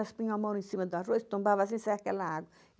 Elas punham a mão em cima do arroz, tombava assim, saia aquela água.